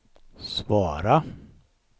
svara